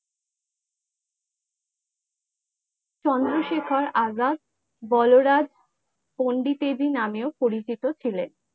চন্দ্রশেখর আজাদ বলরাজ পণ্ডিতের নামে ও পরিচিত ছিলেন ।